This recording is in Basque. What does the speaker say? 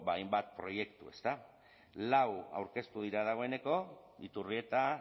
hainbat proiektu ezta lau aurkeztu dira dagoeneko iturrieta